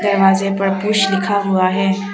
दरवाजे पर पुश लिखा हुआ है।